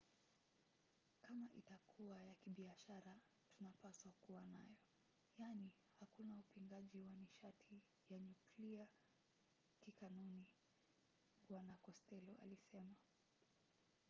"kama itakuwa ya kibiashara tunapaswa kuwa nayo. yaani hakuna upingaji wa nishati ya nyuklia kikanuni bw costello alisema